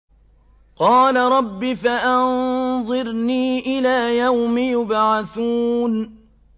قَالَ رَبِّ فَأَنظِرْنِي إِلَىٰ يَوْمِ يُبْعَثُونَ